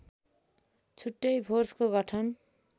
छुट्टै फोर्सको गठन